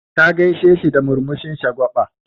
Ta gaisheshi da murmushin shagwa6a.